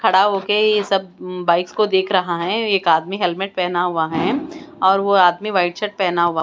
खड़ा होके यह सब उम बाइक्स को देख रहा है एक आदमी हेलमेट पहना हुआ है और वो आदमी वाइट शर्ट पहना हुआ--